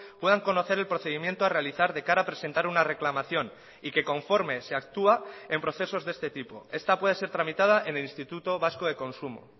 puedan conocer el procedimiento a realizar de cara a presentar una reclamación y que conforme se actúa en procesos de este tipo esta puede ser tramitada en el instituto vasco de consumo